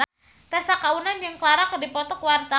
Tessa Kaunang jeung Ciara keur dipoto ku wartawan